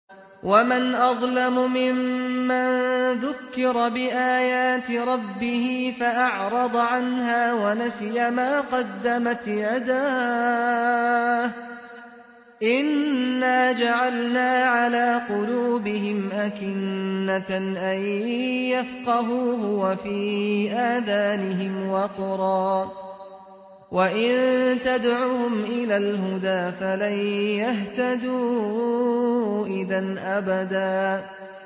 وَمَنْ أَظْلَمُ مِمَّن ذُكِّرَ بِآيَاتِ رَبِّهِ فَأَعْرَضَ عَنْهَا وَنَسِيَ مَا قَدَّمَتْ يَدَاهُ ۚ إِنَّا جَعَلْنَا عَلَىٰ قُلُوبِهِمْ أَكِنَّةً أَن يَفْقَهُوهُ وَفِي آذَانِهِمْ وَقْرًا ۖ وَإِن تَدْعُهُمْ إِلَى الْهُدَىٰ فَلَن يَهْتَدُوا إِذًا أَبَدًا